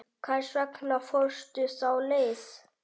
Hvers vegna fórstu þá leið?